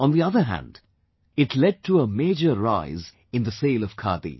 On the other hand, it led to a major rise in the sale of khadi